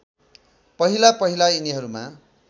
पहिला पहिला यिनीहरूमा